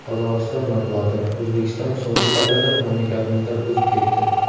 Qozog‘iston matbuoti: O‘zbekiston so‘nggi pallada mamlakatimizdan o‘zib ketdi.